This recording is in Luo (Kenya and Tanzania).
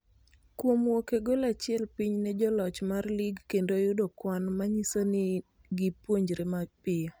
Kuom wuok e gol achiel piny ne joloch mar lig kendo yudo kwan manyiso ni gi puonjore piyo